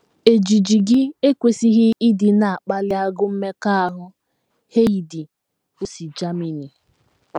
Ejiji gị ekwesịghị ịdị na - akpali agụụ mmekọahụ. ” Heidi, o si Germany.